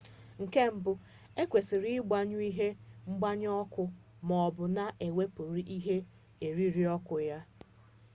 nke mbu ekwesịrị ịgbanyụ ihe ngbanye ọkụ ma ọ bụ na-ewepụrụ ihe eriri ọkụ ya